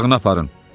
Otağına aparın!